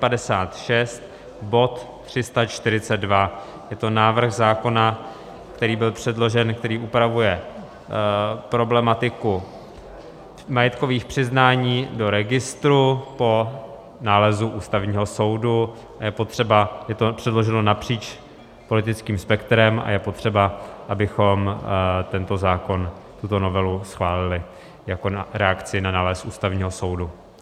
Je to návrh zákona, který byl předložen, který upravuje problematiku majetkových přiznání do registru po nálezu Ústavního soudu, je to předloženo napříč politickým spektrem a je potřeba, abychom tento zákon, tuto novelu schválili jako reakci na nález Ústavního soudu.